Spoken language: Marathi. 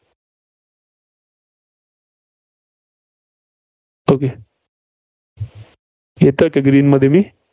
okay येतेय ते Green मध्ये ते.